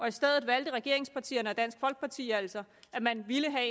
i stedet valgte regeringspartierne og dansk folkeparti altså at man ville have